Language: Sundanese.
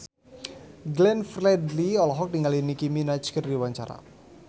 Glenn Fredly olohok ningali Nicky Minaj keur diwawancara